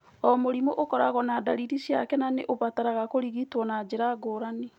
O mũrimũ ũkoragũo na ndariri ciake na nĩ ũbataraga kũrigitwo na njĩra ngũrani.